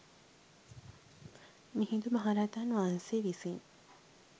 මිහිඳු මහරහතන් වහන්සේ විසින්